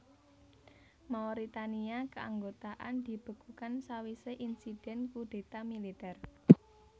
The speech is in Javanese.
Mauritania Keanggotaan dibekukan sawisé insiden kudéta militer